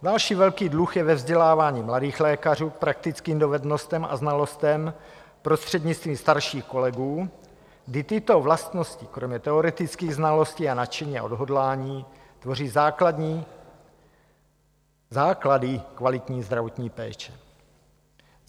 Další velký dluh je ve vzdělávání mladých lékařů k praktickým dovednostem a znalostem prostřednictvím starších kolegů, kdy tyto vlastnosti kromě teoretických znalostí a nadšení a odhodlání tvoří základy kvalitní zdravotní péče.